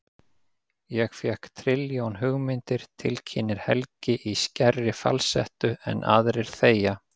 Ég fékk trilljón hugmyndir, tilkynnir Helgi í skærri falsettu en aðrir þegja.